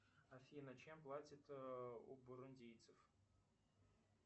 афина чем платят у бурундийцев